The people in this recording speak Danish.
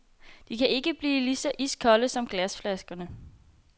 De kan ikke kan blive ligeså iskolde som glasflaskerne.